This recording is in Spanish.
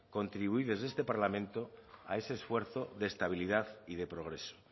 contribuir desde este parlamento a ese esfuerzo de estabilidad y de progreso